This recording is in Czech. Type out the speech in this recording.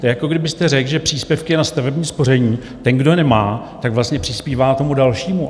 To je, jako kdybyste řekl, že příspěvky na stavební spoření ten, kdo nemá, tak vlastně přispívá tomu dalšímu.